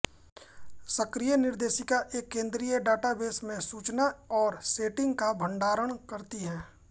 सक्रिय निर्देशिका एक केन्द्रीय डाटाबेस में सूचना और सेटिंग्स का भंडारण करती है